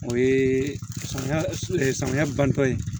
O ye samiya samiya bantɔ ye